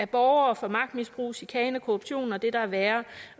borgere for magtmisbrug chikane korruption og det der er værre